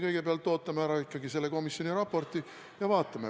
Kõigepealt me ootame ikkagi ära selle komisjoni raporti ja vaatame, mis seal kirjas on.